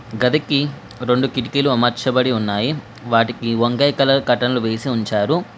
గదికి రొండు కిటికీలు అమర్చబడి ఉన్నాయి. వాటికి వంకాయ కలర్ కర్టన్ లు వేసి ఉంచారు.